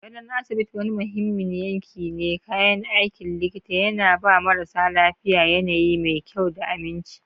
Gadon asibiti, wani muhimmin yanki na kayan aikin likita, yana ba marasa lafiya yanayi mai kyau da aminci.